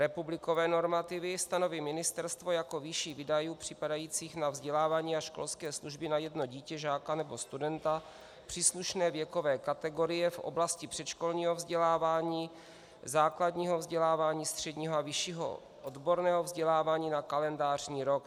Republikové normativy stanoví ministerstvo jako výši výdajů připadajících na vzdělávání a školské služby na jedno dítě, žáka nebo studenta příslušné věkové kategorie v oblasti předškolního vzdělávání, základního vzdělávání, středního a vyššího odborného vzdělávání na kalendářní rok.